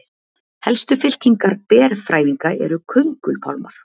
helstu fylkingar berfrævinga eru köngulpálmar